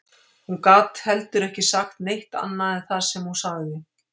Hún gat heldur ekki sagt neitt annað en það sem hún sagði